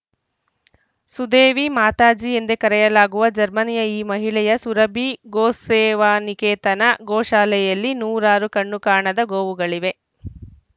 ಸುದೇವಿ ಮಾತಾಜಿ ಎಂದೇ ಕರೆಯಲಾಗುವ ಜರ್ಮನಿಯ ಈ ಮಹಿಳೆಯ ಸುರಭಿ ಗೋಸೇವಾನಿಕೇತನ ಗೋಶಾಲೆಯಲ್ಲಿ ನೂರಾರು ಕಣ್ಣು ಕಾಣದ ಗೋವುಗಳಿವೆ